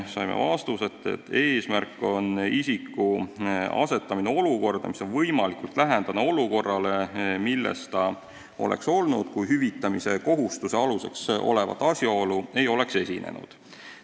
Saime vastuse, et eesmärk on isiku asetamine olukorda, mis on võimalikult lähedane olukorrale, milles ta oleks olnud, kui hüvitamise kohustuse aluseks olevat asjaolu ei oleks esinenud.